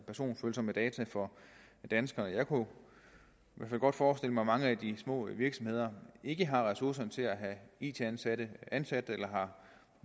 personfølsomme data for danskerne jeg kunne godt forestille mig at mange af de små virksomheder ikke har ressourcerne til at have it ansatte ansat eller